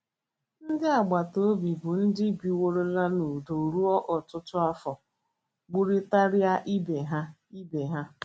Ndị agbata obi, bụ́ ndị biworo n’udo ruo ọtụtụ afọ, gburịtara ibe ha. ibe ha.